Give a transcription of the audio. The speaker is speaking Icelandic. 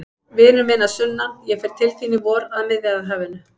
Vinur minn að sunnan, ég fer til þín í vor, að Miðjarðarhafinu.